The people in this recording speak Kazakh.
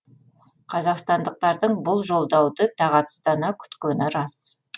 қазақстандықтардың бұл жолдауды тағатсыздана күткені рас